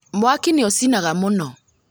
Mwaki nĩ ucinaga mũno